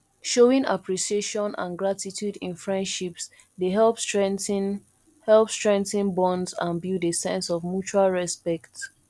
showing appreciation and gratitude in friendships dey help strengthen help strengthen bonds and build a sense of mutual respect